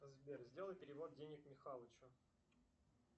сбер сделай перевод денег михалычу